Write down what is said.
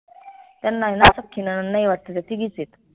त्यांना आयन सख्खी नणंद नाई आय वाटत त्या तिघीच आहेत